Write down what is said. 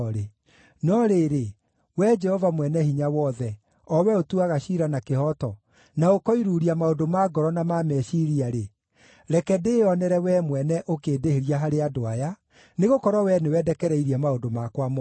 No rĩrĩ, Wee Jehova Mwene-Hinya-Wothe, o wee ũtuaga ciira na kĩhooto na ũkoiruuria maũndũ ma ngoro na ma meciiria-rĩ, reke ndĩĩonere wee mwene ũkĩndĩhĩria harĩ andũ aya, nĩgũkorwo wee nĩwe ndekereirie maũndũ makwa mothe.